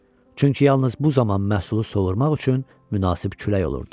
Çünki yalnız bu zaman məhsulu sovuurmaq üçün münasib külək olurdu.